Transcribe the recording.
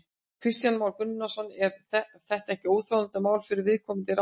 Kristján Már Unnarsson: Er þetta ekki óþolandi mál fyrir viðkomandi ráðherra?